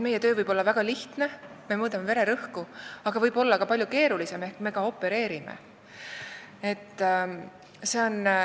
Meie töö võib olla väga lihtne, st vahel me mõõdame ainult vererõhku, aga see võib olla ka palju keerulisem, me isegi opereerime.